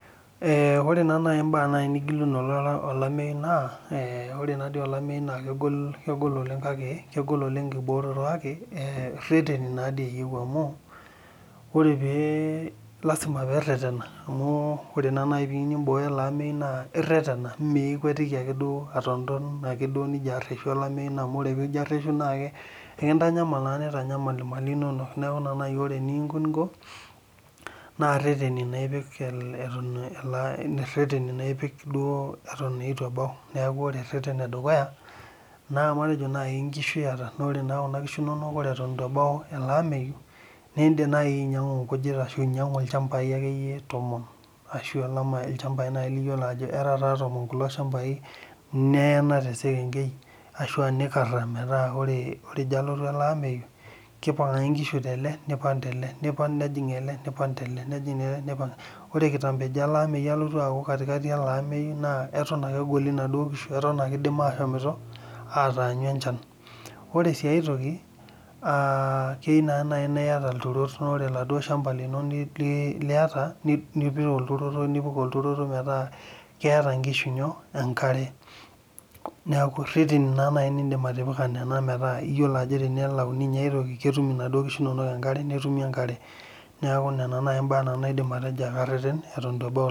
Ore mbaa nigilunore olayu naa ore taadii olameyu naa kegol oleng ekimbooroto kake, irreteni taa doi naa eyieu amuu, lasima pee irretena. Amuu ore pee iyieu naa nimbooyo olameyu naa irretena mmeikwetiki ake duoo atonton amuu ore pee mirretena naa ntanyamal nkishu nono. Neeku ore eninko naa irretena ainguraki lchambai naaji tomon, metaa kidip ake obo neipang aajing likae, ore sii enkae naaa enkare lasima pee ing'uraki iturot ootumie enkare.